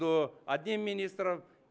то дин министр